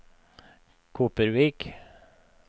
Kopervik